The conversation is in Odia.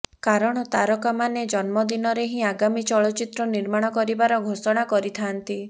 କାରଣ ତାରକାମାନେ ଜନ୍ମଦିନରେ ହିଁ ଆଗାମୀ ଚଳଚ୍ଚିତ୍ର ନିର୍ମାଣ କରିବାର ଘୋଷଣା କରିଥାନ୍ତି